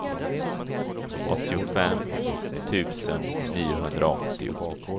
åttiofem tusen niohundraåttio